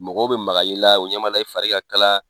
Mɔgɔw be maga i la , u ɲabala i fari ka kalan